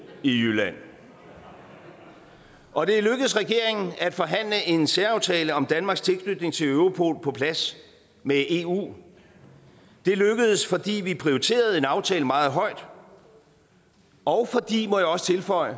i jylland og det er lykkedes regeringen at forhandle en særaftale om danmarks tilknytning til europol på plads med eu det er lykkedes fordi vi prioriterede en aftale meget højt og fordi må jeg også tilføje